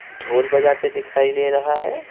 ढोल बजाते दिखाई दे रहा है।